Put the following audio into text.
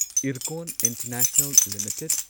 Ircon international limited